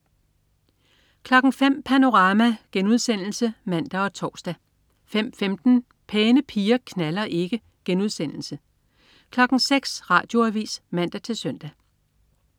05.00 Panorama* (man og tors) 05.15 Pæne piger knalder ikke* 06.00 Radioavis (man-søn)